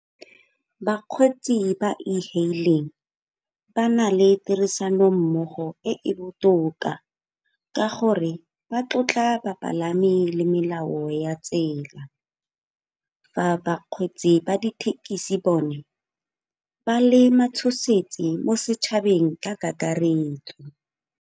Bakgweetsi ba e-hailing ba na le tirisano mmogo e e botoka ka gore ba tlotla bapalami le melao ya tsela. Fa ba kgweetsi ba dithekisi bone ba le matshosetsi mo setšhabeng ka kakaretso.